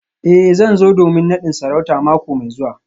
Eh zan zo domin nadin sarauta mako mai zuwa